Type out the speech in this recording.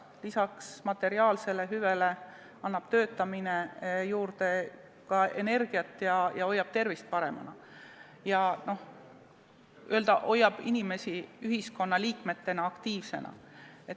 Lisaks materiaalsele hüvele annab töötamine juurde energiat ning hoiab tervist paremana ja inimest ühiskonnaliikmena aktiivsena.